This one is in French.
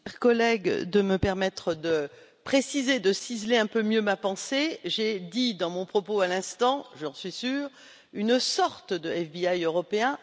Cher collègue, merci de me permettre de préciser, de ciseler un peu mieux ma pensée. J'ai dit dans mon propos à l'instant, j'en suis sûre, une sorte de FBI européen